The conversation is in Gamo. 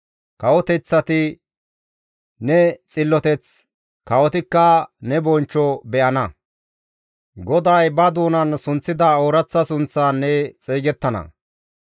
Kawoteththati ne xilloteth, kawotikka ne bonchcho be7ana; GODAY ba doonan sunththida ooraththa sunththan ne xeygettana.